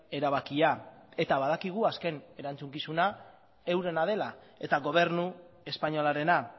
erabakia eta badakigu azken erantzukizuna eurena dela eta gobernu espainolarena